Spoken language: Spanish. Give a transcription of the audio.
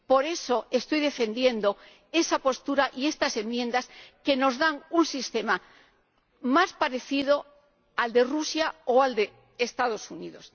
Por eso estoy defendiendo esa postura y estas enmiendas que nos ofrecen un sistema más parecido al de Rusia o al de los Estados Unidos.